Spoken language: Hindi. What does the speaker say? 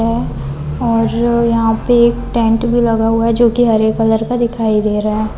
है और यहाँ पे एक टेंट भी लगा हुआ है जो कि हरे कलर का दिखाई दे रहा है।